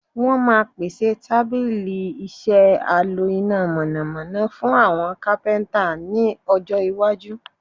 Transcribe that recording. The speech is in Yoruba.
Wọ́n máa pèsè tábílì-iṣẹ́ a lo iná mọ̀nàmọ́ná fún àwọn capenter ní ọjọ́ Iwaju.